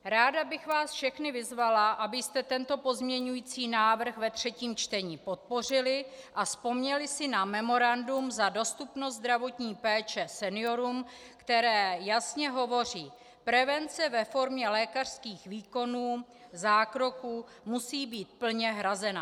Ráda bych vás všechny vyzvala, abyste tento pozměňující návrh ve třetím čtení podpořili a vzpomněli si na memorandum za dostupnost zdravotní péče seniorům, které jasně hovoří: prevence ve formě lékařských výkonů, zákroků, musí být plně hrazena.